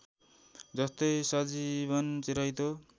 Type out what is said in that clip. जस्तै सजीवन चिराइतो